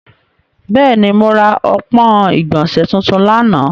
Bẹẹni, mo ra ọpọn igbọnse tuntun lana.